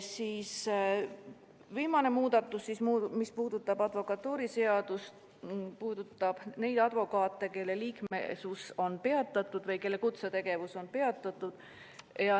Viimane advokatuuriseaduse muudatus puudutab neid advokaate, kelle liikmesus on peatatud või kelle kutsetegevus on peatud.